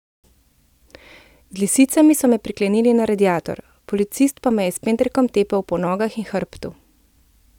Z lisicami so me priklenili na radiator, policist pa me je s pendrekom tepel po nogah in hrbtu.